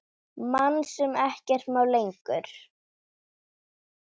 Mann sem ekkert má lengur.